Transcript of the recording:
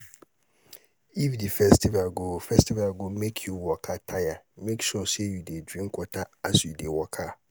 if the festival go festival go make you waka tire make sure say you de drink water as you de waka